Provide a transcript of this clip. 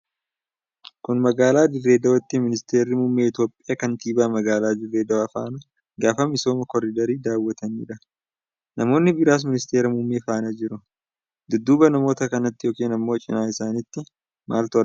Kun magaalaa Dirre Dawaatti Minteerri Muummee Itoophiyaa kantibaa magaalaa Dirre Dawaa faana gaafa misooma koridarii daawwataniidha. Namoonni biraas Ministeera Muummee faana jiru. Dudduuba namoota kanatti yookiin ammoo cinaa isaanitti maaltu argama?